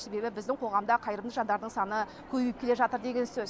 себебі біздің қоғамда қайырымды жандардың саны көбейіп келе жатыр деген сөз